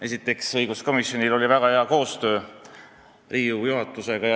Esiteks, õiguskomisjonil oli väga hea koostöö Riigikogu juhatusega.